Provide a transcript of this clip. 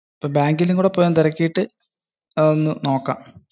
അപ്പോ ബാങ്കിലും ഒന്ന് പോയി തിരക്കയിട്ടു അത് ഒന്നും നോക്കാം